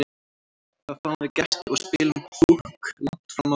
Þá fáum við gesti og spilum Púkk langt fram á nótt.